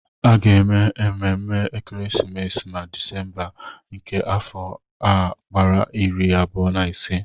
A ga-eme mmemme ekeresimesi ma Disemba nke afọ a gbaa iri abụọ na ise.